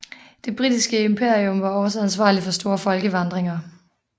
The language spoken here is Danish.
Det britiske imperium var også ansvarlig for store folkevandringer